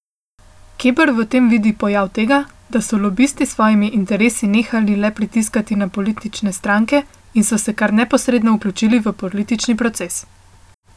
Keber v tem vidi pojav tega, da so lobisti s svojimi interesi nehali le pritiskati na politične stranke in so se kar neposredno vključili v politični proces.